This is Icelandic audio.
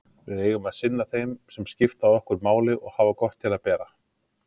Við eigum að sinna þeim sem skipta okkur máli og hafa gott til að bera.